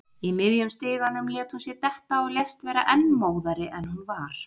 Í miðjum stiganum lét hún sig detta og lést vera enn móðari en hún var.